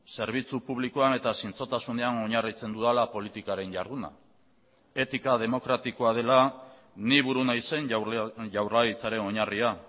zerbitzu publikoan eta zintzotasunean oinarritzen dudala politikaren jarduna etika demokratikoa dela ni buru naizen jaurlaritzaren oinarria